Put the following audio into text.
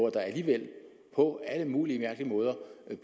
der alligevel på alle mulige mærkelige måder